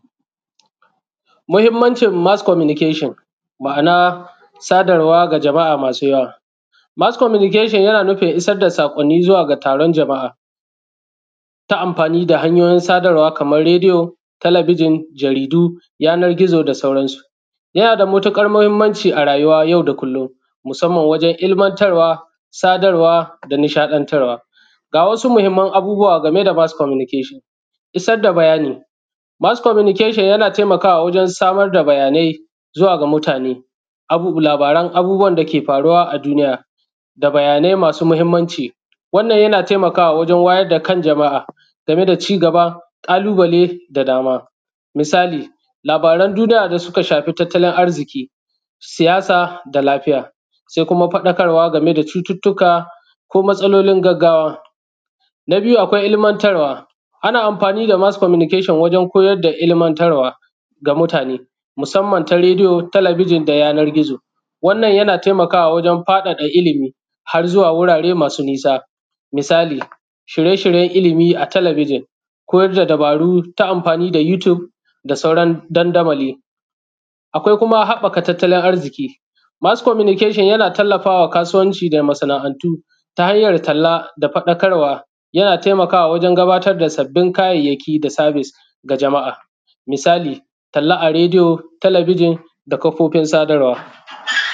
Mahimmancin Mas Komunikeshan, ma’ana sadarwa ga ʤama’a masu yawa. Mas Komunikeshan yana nufin isar da saƙonni zuwa ga taron jama’a ta amfani da hanyoyin kaman radiyo, telebijin, jaridu, yanar gizo, da sauransu. Yana da matuƙar mahimmanci a rayuwa yau da kullum, musamman wajen ilmantarwa, sadarwa, da nishaɗantarwa ga wasu muhimman abubuwa game da Mas Komunikeshan. • Isar da bayani: Mas Komunikeshan yana taimakawa waʤen samar da bayanai zuwa ga mutane; labaran abubuwan dake faruwa a duniya, da bayanai masu muhimmanci. Wannan yana taimakawa wajen wayar da kan jama’a game da cigaba, ƙalubale, da dama. Misali, labaran duniya da suka shafi tattalin arziƙi, siyasa, da lafiya. Sai kuma faɗakarwa game da cututtuka ko matsalolin gaggawa. • Ilmantarwa: Ana amfani da Mas Komunikeshan wajen koyar da ilmantarwa ga mutane, musamman ta radiyo, telebijin, da yanar gizo. Wannan yana taimakawa wajen faɗaɗa ilimi har ma zuwa wurare masu nisa. Misali, shirye-shirye na ilimi a telebijin, koyar da dabaru ta amfani da Yutub da sauran dandamali. • Haɓɓaka tattalin arziƙi: Mas Komunikeshan yana tallafawa kasuwanci da masana’antu ta hanyar talla da faɗakarwa. Yana taimakawa wajen gabata da sabbin kayayaki da servis ga jama’a. Misali, talla a radiyo, telebijin, da kafofin sadarwa